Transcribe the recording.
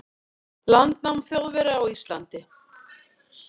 landnám Þjóðverja á Íslandi.